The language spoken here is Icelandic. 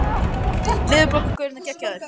Fjarar undan Sönnum Finnum